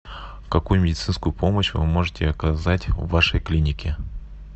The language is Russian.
какую медицинскую помощь вы можете оказать в вашей клинике